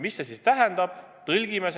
Mida see siis tähendab?